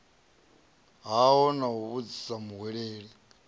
hao na u vhudzisa muhweleli